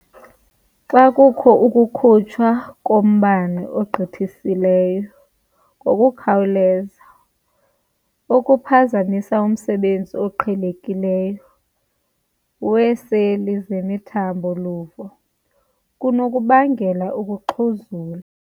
Xa kukho ukukhutshwa kombane okugqithisileyo ngokukhawuleza okuphazamisa umsebenzi oqhelekileyo weeseli zemithambo-luvo, kunokubangela ukuxhuzula.